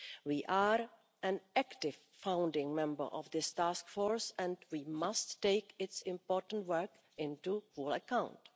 We are an active founding member of this task force and we must take its important work into full account.